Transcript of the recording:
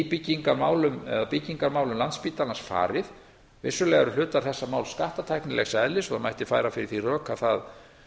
byggingarmálum eða byggingarmálum landspítalans farið vissulega eru hlutar þessa máls skattatæknilegs eðlis og mætti færa fyrir því rök að það